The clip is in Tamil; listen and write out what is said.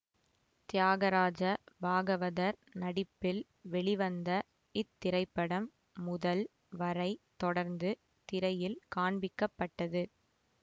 தியாகராஜ பாகவதர் நடிப்பில் வெளிவந்த இத்திரைப்படம் முதல் வரை தொடர்ந்து திரையில் காண்பிக்கப்பட்டது